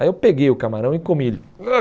Aí eu peguei o camarão e comi ele.